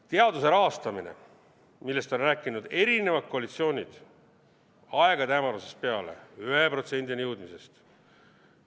Teaduse rahastamine, millest on rääkinud erinevad koalitsioonid aegade hämarusest peale, 1%-ni jõudmisest.